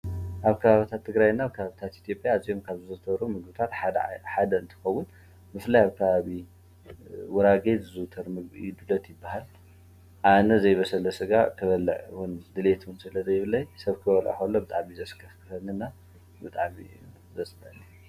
ኣብ ካባባታት ትግራይ ናብ ካብ ብኢትዮጵያ ዘምካብ ዝዘተብሮ ምጉታት ሓደ እንትኸዉን ምፍላይ ኣብ ካባብ ጉራጌ ዝዙተርሚዱለት ይበሃል ።ኣነ ዘይበሰለ ሥጋ ክበልዉን ድልትን ዘለ ዘይብለይ ሰብ ክወልሎ ብጣኣሚ ዘስከፍንና ብጣዕሚ ዝፀልእን እየ።